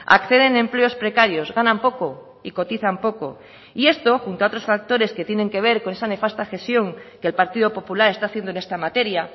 acceden a empleos precarios ganan poco y cotizan poco y esto junto a otros factores que tiene que ver con esa nefasta cesión que el partido popular está haciendo en esta materia